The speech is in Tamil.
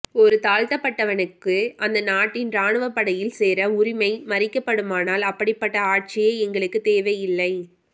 ஒரு தாழ்த்தப்பட்டவனுக்கு அந்த நாட்டின் ராணுவ படையில் சேர உரிமை மறிக்கப்படுமானால் அப்படிப்பட்ட ஆட்சியே எங்களுக்கு தேவையில்லை